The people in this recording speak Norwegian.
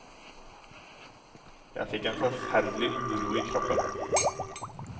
Jeg fikk en forferdelig uro i kroppen.